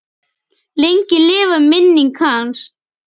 Lengi lifi minning hans.